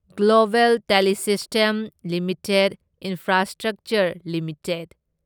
global Telesystem Limited Infrastructure limited